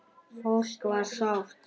Fólk var sátt.